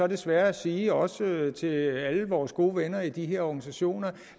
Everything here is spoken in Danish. desværre sige også til alle vores gode venner i de her organisationer